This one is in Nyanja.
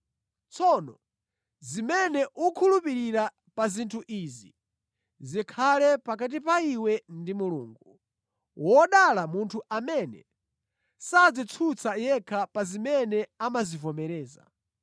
Tsono zimene ukukhulupirira pa zinthu izi zikhale pakati pa iwe ndi Mulungu. Wodala munthu amene sadzitsutsa yekha pa zimene amazivomereza.